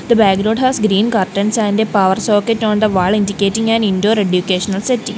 the background has green curtains and a power socket on the wall indicating an indoor educational setting.